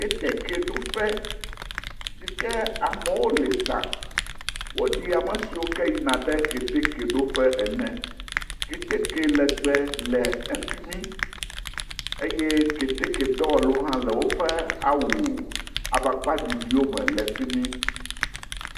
Ketekeɖoƒe si ke amewo le zã. Woɖi ame siwo ke yina ɖe keteke ɖoƒe ene. Keteke lɛgbɛ le efi mi. Eye ketekedɔwɔlawo hã wole woƒe awu amakpaɖiɖiwome le fi mi.